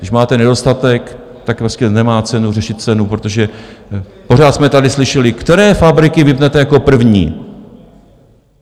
Když máte nedostatek, tak prostě nemá cenu řešit cenu, protože pořád jsme tady slyšeli, které fabriky vypnete jako první?